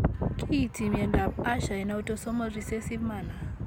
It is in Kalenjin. Kiinti myondap Usher en autosomal recessive manner.